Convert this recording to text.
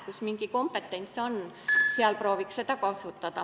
Kus mingi kompetentsus on, seal tuleks proovida seda kasutada.